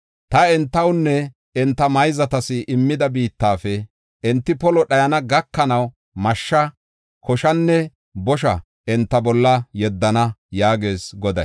Ta entawunne enta mayzatas immida biittafe enti polo dhayana gakanaw mashsha, koshanne bosha enta bolla yeddana” yaagees Goday.